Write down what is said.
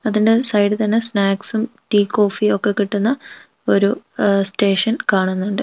അതിന്റെ സൈഡിത്തന്നെ സ്നാക്സും ടീ കോഫി ഒക്കെ കിട്ടുന്ന ഒരു അഹ് സ്റ്റേഷൻ കാണുന്നൊണ്ട് .